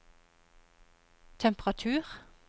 temperatur